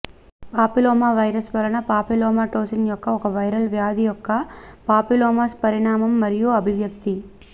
papilloma virus వలన papillomatosis యొక్క ఒక వైరల్ వ్యాధి యొక్క పాపిల్లోమాస్ పరిణామం మరియు అభివ్యక్తి